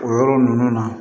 O yɔrɔ ninnu na